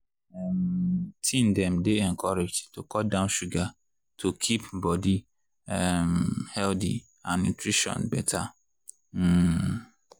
um teen dem dey encouraged to cut down sugar to keep body um healthy and nutrition better. um